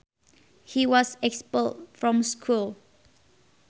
He was expelled from school